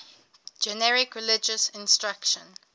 generic religious instruction